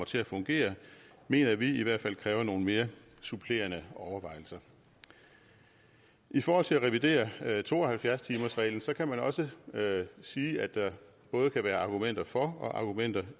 til at fungere mener vi i hvert fald kræver nogle mere supplerende overvejelser i forhold til at revidere to og halvfjerds timersreglen kan man også sige at der både kan være argumenter for og argumenter